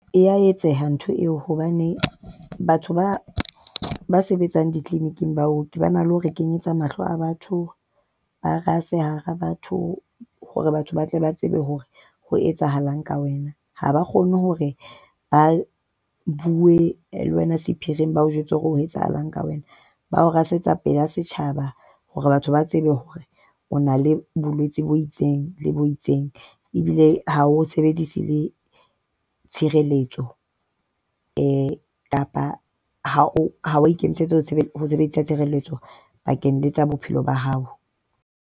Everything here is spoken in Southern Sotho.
E a etseha ntho eo hobane batho ba ba sebetsang di-clinic-ng baoki, ba na le ho re kenyetsa mahlo a batho. Ba rase hara batho hore batho ba tle ba tsebe hore ho etsahalang ka wena. Ha ba kgone hore ba bue le wena sephiring ba o jwetse hore ho etsahalang ka wena. Ba o rasetsa pela setjhaba hore batho ba tsebe hore o na le bolwetsi bo itseng le bo itseng, ebile ha o sebedise le tshireletso kapa ha o ha a ikemisetsa ho sebedisa tshireletso bakeng tsa bophelo ba hao.